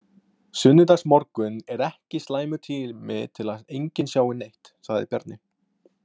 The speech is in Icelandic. Sunnudagsmorgunn er ekki slæmur tími til að enginn sjái neitt, sagði Bjarni.